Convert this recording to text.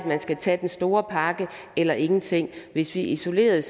man skal tage den store pakke eller ingenting hvis vi isoleret